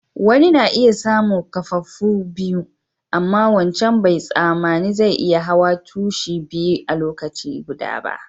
Wanni na iya samu kaffafuwa biyu, amma wancan bai tsamani zai iya hawa tushi biyu a'lokaci guda ba.